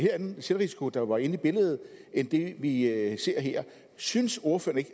anden selvrisiko der var inde i billedet end det vi ser her synes ordføreren